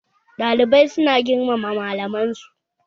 Ɗalibai su na girmama malaman su